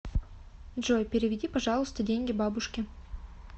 джой переведи пожалуйста деньги бабушке